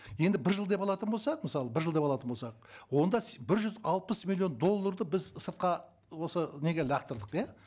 енді бір жыл деп алатын болсақ мысалы бір жыл деп алатын болсақ онда бір жүз алпыс миллион долларды біз сыртқа осы неге лақтардық иә